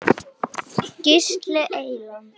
Gísli Eyland.